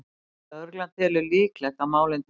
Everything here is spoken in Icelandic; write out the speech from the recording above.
Lögregla telur líklegt að málin tengist